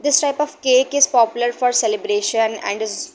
This type of cake is popular for celebration and is --